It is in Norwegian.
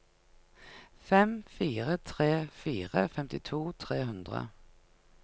fem fire tre fire femtito tre hundre